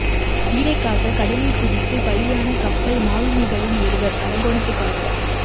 உயிரைக் காக்க கடலில் குதித்து பலியான கப்பல் மாலுமிகளில் ஒருவர் அரக்கோணத்துக்காரர்